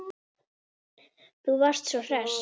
Þú varst svo hress.